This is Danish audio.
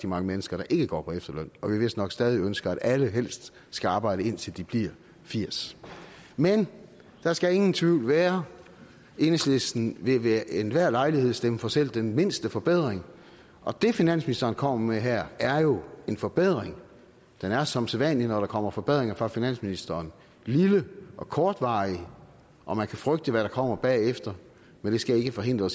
mange mennesker der ikke går på efterløn og vi vist nok stadig ønsker at alle helst skal arbejde indtil de bliver firs men der skal ingen tvivl være enhedslisten vil ved enhver lejlighed stemme for selv den mindste forbedring og det finansministeren kommer med her er jo en forbedring den er som sædvanlig når der kommer forbedringer fra finansministeren lille og kortvarig og man kan frygte hvad der kommer bagefter men det skal ikke forhindre